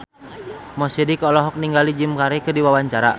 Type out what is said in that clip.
Mo Sidik olohok ningali Jim Carey keur diwawancara